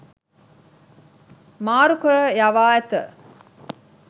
මාරුකර යවා ඇත.